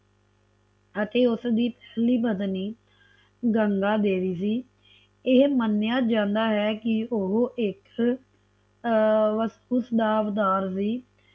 ਅਤੇ ਉਸਦੀ ਪਹਿਲੀ ਪਤਨੀ ਗੰਗਾ ਦੇਵੀ ਸੀ ਇਹ ਮੰਨਿਆ ਜਾਂਦਾ ਹੈ ਕਿ ਉਹ ਇਕ ਅਹ ਵਸਤੁਸੁਧਾਵਦਾਰ ਸੀ